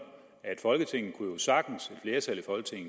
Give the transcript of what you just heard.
at i folketinget sagtens